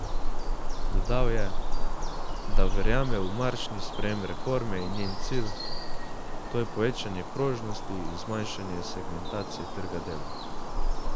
Dodal je, da verjame v marčni sprejem reforme in njen cilj, to je povečanje prožnosti in zmanjšanje segmentacije trga dela.